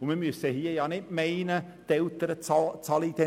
Wir dürfen nicht meinen, dass die Eltern nichts bezahlen.